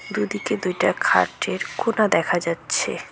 দু দিকে দুইটা খাটের কোনা দেখা যাচ্ছে।